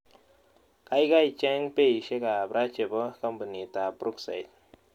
Kaigai cheng' beisiekap ra che po kampunitap brookside